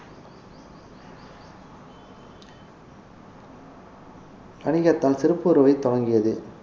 வணிகத்தால் துவங்கியது